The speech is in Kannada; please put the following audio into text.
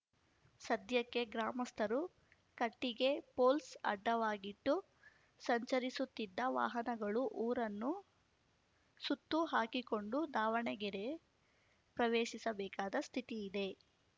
ಸದ್ಯಕ್ಕೆ ಗ್ರಾಮಸ್ಥರು ಕಟ್ಟಿಗೆ ಪೋಲ್ಸ್ ಅಡ್ಡವಾಗಿಟ್ಟು ಸಂಚರಿಸುತ್ತಿದ್ದ ವಾಹನಗಳು ಊರನ್ನು ಸುತ್ತು ಹಾಕಿಕೊಂಡು ದಾವಣಗೆರೆ ಪ್ರವೇಶಿಸಬೇಕಾದ ಸ್ಥಿತಿ ಇದೆ